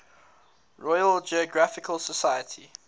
royal geographical society